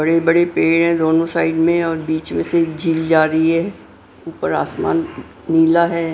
बड़े बड़े पेड़ हैं दोनों साइड में और बीच में से झील जा रही है ऊपर आसमान नीला है।